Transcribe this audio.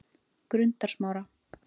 Grundarsmára